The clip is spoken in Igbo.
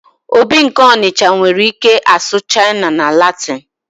obi nke Onitsha nwere ike asụ Chinese na Latin